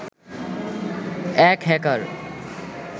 এক হ্যাকার